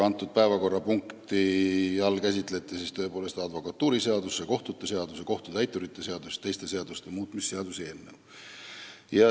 Selle päevakorrapunkti all käsitleti siis tõepoolest advokatuuriseaduse, kohtute seaduse, kohtutäituri seaduse ja teiste seaduste muutmise seaduse eelnõu.